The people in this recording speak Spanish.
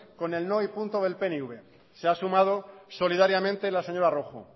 con el no y punto del pnv se ha sumado solidariamente la señora rojo